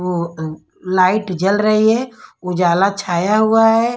वो लाइट जल रही है उजाला छाया हुआ है।